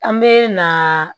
An bɛ na